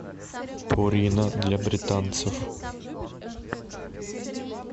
пурина для британцев